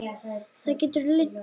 Það gætu leynst í því.